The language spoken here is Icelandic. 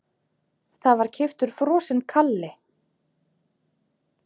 Það var keyptur frosinn kalli.